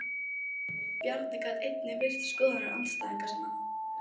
Bjarni gat einnig virt skoðanir andstæðinga sinna.